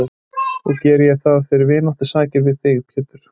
Og geri ég það fyrir vináttusakir við þig, Pétur.